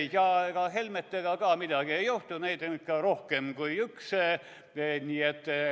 Ja ega Helmetega ka midagi ei juhtu, neid on ikka rohkem kui üks.